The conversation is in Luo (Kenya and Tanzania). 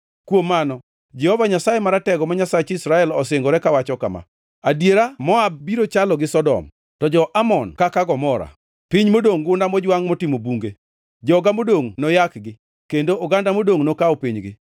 Kuom mano, Jehova Nyasaye Maratego, ma Nyasach Israel osingore kawacho kama, “Adiera, Moab biro chalo gi Sodom, to jo-Amon kaka Gomora, piny modongʼ gunda mojwangʼ motimo bunge. Joga modongʼ noyakgi; kendo oganda modongʼ nokaw pinygi.”